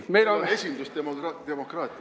Meil on esindusdemokraatia.